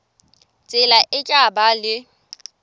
tsela e tla ba le